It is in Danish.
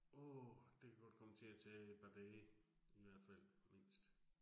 Åh det godt komme til at tage et par dage i hvert fald, mindst